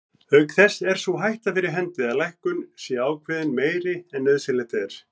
Auk þess er sú hætta fyrir hendi að lækkun sé ákveðin meiri en nauðsynlegt er.